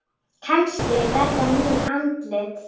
Kannski verða ný andlit.